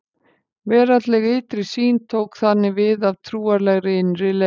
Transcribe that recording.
Veraldleg ytri sýn tók þannig við af trúarlegri innri leit.